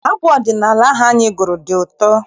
Abụ ọdịnala ahụ anyị gụrụ dị ụtọ.